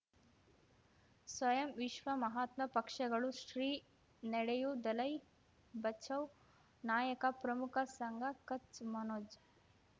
ಸ್ವಯಂ ವಿಶ್ವ ಮಹಾತ್ಮ ಪಕ್ಷಗಳು ಶ್ರೀ ನಡೆಯೂ ದಲೈ ಬಚೌ ನಾಯಕ ಪ್ರಮುಖ ಸಂಘ ಕಚ್ ಮನೋಜ್